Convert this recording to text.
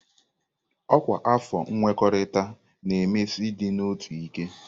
Ọkwa afọ nkwekọrịta na-emesi ịdị n'otu ike.